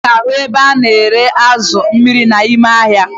Ị ga-ahụ ebe a na-ere azụ amịrị amị n'ahịa